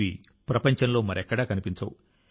ఇవి ప్రపంచంలో మరెక్కడా కనిపించవు